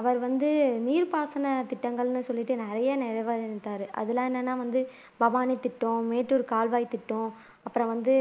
அவர் வந்து நீர்ப்பாசன திட்டங்கள்ன்னு சொல்லிட்டு நிறைய அது எல்லாம் என்னன்னா வந்து பவானி திட்டம் மேட்டூர் கால்வாய் திட்டம் அப்புறம் வந்து